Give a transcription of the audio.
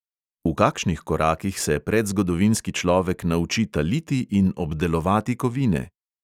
V kakšnih korakih se predzgodovinski človek nauči taliti in obdelovati kovine?